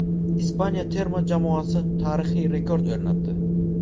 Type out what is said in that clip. Ispaniya terma jamoasi tarixiy rekord o‘rnatdi.